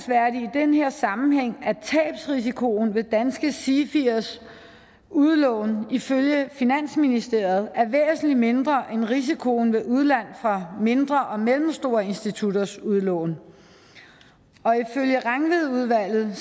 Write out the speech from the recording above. den her sammenhæng at tabsrisikoen ved danske sifiers udlån ifølge finansministeriet er væsentlig mindre end risikoen ved udlån fra mindre og mellemstore institutters udlån og ifølge rangvid udvalget